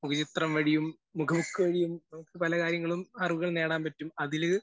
മുഖചിത്രം വഴിയും മുഖ ബുക്ക് വഴിയും നമുക്ക് പല കാര്യങ്ങളിലും അറിവുകൾ നേടാൻ പറ്റും. അതിൽ.